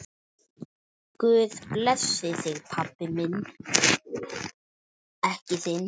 Guð blessi þig, pabbi minn.